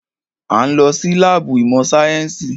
A ń lọ sí láàbù ìmọ̀ sáyẹ́nsì.